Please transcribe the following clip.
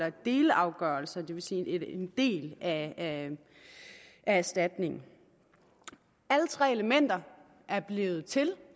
en delafgørelse det vil sige en del af erstatningen alle tre elementer er blevet til